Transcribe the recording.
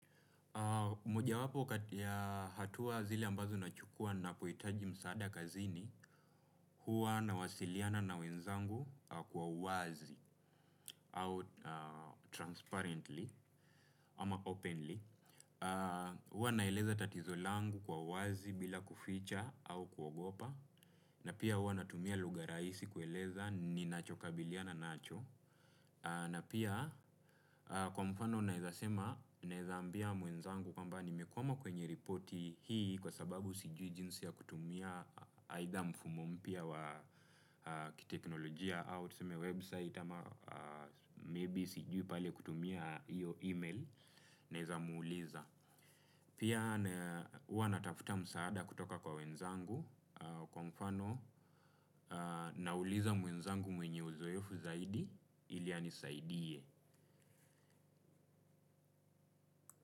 Moja wapo ya hatuwa zile ambazo nachukua ninapo hitaji msaada kazini. Huwa na wasiliana na wenzangu, kwa uwazi au transparently ama openly. Huwa naeleza tatizo langu kwa uwazi bila kuficha au kuogopa, na pia huwa natumia lugha raisi kueleza ni nacho kabiliana nacho. Na pia kwa mfano naeza sema, naeza ambia mwenzangu kwamba nimekwama kwenye repoti hii, kwa sababu sijui jinsi ya kutumia aitha mfumo mpya wa kiteknolojia au tuseme website ama maybe sijui pale kutumia iyo email naeza muuliza. Pia huwa natafuta msaada kutoka kwa wenzangu, kwa mfano nauliza mwenzangu mwenye uzoefu zaidi, ili anisaidie.